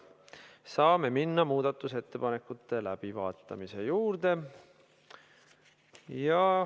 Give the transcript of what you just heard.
Saame minna muudatusettepanekute läbivaatamise juurde.